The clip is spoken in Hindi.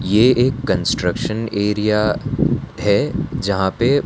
यह एक कंस्ट्रक्शन एरिया है यहां पे--